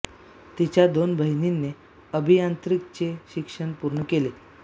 तिच्या दोन बहिणीने अभियांत्रिकी चे शिक्षण पूर्ण केले